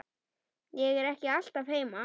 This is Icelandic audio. Ég er ekki alltaf heima.